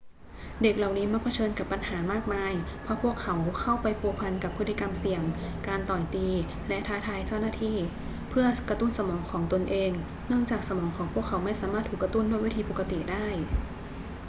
เด็กเหล่านี้มักเผชิญกับปัญหามากมายเพราะพวกเขา เข้าไปพัวพันกับพฤติกรรมเสี่ยง การต่อยตี และท้าทายเจ้าหน้าที่ เพื่อกระตุ้นสมองของตนเอง เนื่องจากสมองของพวกเขาไม่สามารถถูกกระตุ้นด้วยวิธีปกติได้